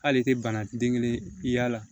Hali i tɛ bana den kelen i y'a la